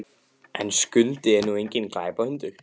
En Skundi er nú enginn glæpahundur.